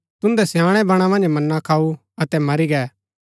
तुन्दै स्याणैं बणा मन्ज मन्ना खाऊँ अतै मरी गै